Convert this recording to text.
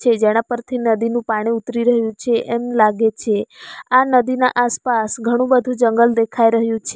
તે ઝરણા પરથી નદીનું પાણી ઉતરી રહ્યું છે એમ લાગે છે આ નદીના આસપાસ ઘણું બધું જંગલ દેખાઈ રહ્યું છે.